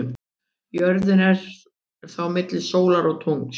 Jörðin er þá milli sólar og tungls.